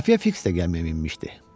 Xəfiyə Fiks də gəmiyə minmişdi.